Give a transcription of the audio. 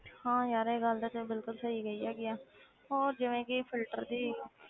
ਹਾਂ ਯਾਰ ਇਹ ਗੱਲ ਤਾਂ ਬਿਲਕੁਲ ਸਹੀ ਕਹੀ ਹੈਗੀ ਹੈ ਹੋਰ ਜਿਵੇਂ ਕਿ filter ਦੀ